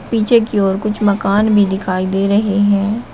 पीछे की ओर कुछ मकान भी दिखाई दे रहे हैं।